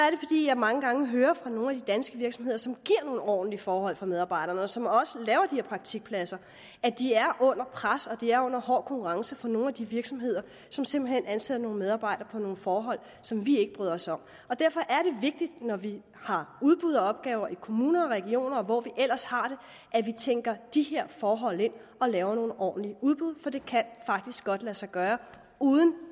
jeg mange gange hører fra nogle af de danske virksomheder som giver nogle ordentlige forhold for medarbejderne og som også laver de her praktikpladser at de er under pres og at de er under hård konkurrence fra nogle af de virksomheder som simpelt hen ansætter nogle medarbejdere under nogle forhold som vi ikke bryder os om derfor er det vigtigt når vi har udbud og opgaver i kommuner og regioner og hvor vi ellers har det at vi tænker de her forhold ind og laver nogle ordentlige udbud for det kan faktisk godt lade sig gøre uden